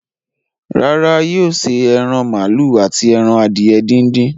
Rárá, yóò ṣe ẹran màálù àti ẹran adìye díndín.